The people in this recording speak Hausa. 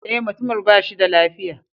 Eh, mutumin ba shi da lafiya.